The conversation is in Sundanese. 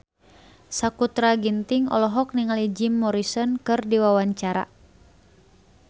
Sakutra Ginting olohok ningali Jim Morrison keur diwawancara